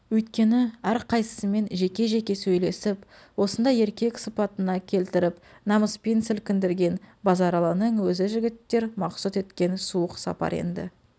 өйткені әрқайсысымен жеке-жеке сөйлесіп осындай еркек сыпатына келтіріп намыспен сілкіндірген базаралының өзі жігіттер мақсұт еткен суық сапар енді